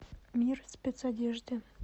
мир спецодежды